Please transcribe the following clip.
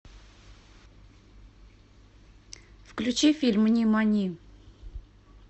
включи фильм нимани